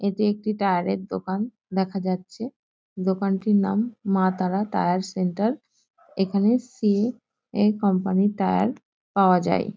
এটি একটি টায়ার -এর দোকান দেখা যাচ্ছে। দোকানটির নাম মা তারা টায়ার সেন্টার । এখানে সি .এ. - এর কোম্পানির টায়ার পাওয়া যায়।